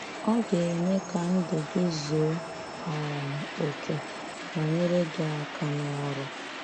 Ọ ga-eme ka ndụ gị zuo um oke, ma nyere gị aka n'ọrụ